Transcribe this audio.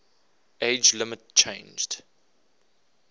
age limit changed